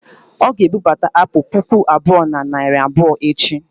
ọ ga-ebubata apụl puku abụọ na narị abụọ echi